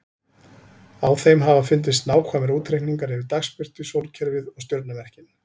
Á þeim hafa fundist nákvæmir útreikningar yfir dagsbirtu, sólkerfið og stjörnumerkin.